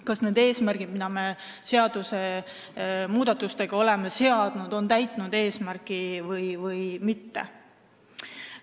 Kas need eesmärgid, mida me seadusmuudatustega oleme seadnud, on täidetud või mitte?